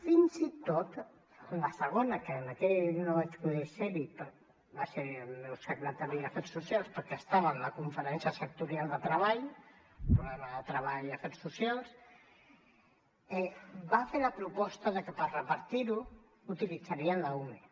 fins i tot en la segona que en aquella no vaig poder ser hi va ser hi el meu secretari d’afers socials perquè estava en la conferència sectorial de treball un problema ser de treball i afers socials va fer la proposta de que per repartir ho utilitzarien l’ume